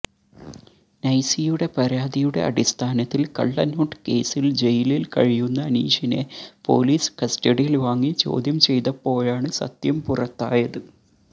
നൈസിയുടെ പരാതിയുടെ അടിസ്ഥാനത്തിൽ കള്ളനോട്ട് കേസിൽ ജയലിൽ കഴിയുന്ന അനീഷിനെ പൊലീസ് കസ്റ്റഡിയിൽ വാങ്ങി ചോദ്യം ചെയ്തപ്പോഴാണ് സത്യം പുറത്തായത്